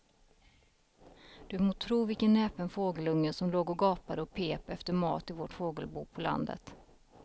Du må tro vilken näpen fågelunge som låg och gapade och pep efter mat i vårt fågelbo på landet.